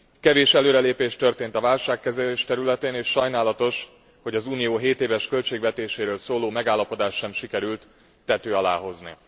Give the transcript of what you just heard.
Kevés előrelépés történt a válságkezelés területén, és sajnálatos, hogy az Unió 7 éves költségvetéséről szóló megállapodást sem sikerült tető alá hozni.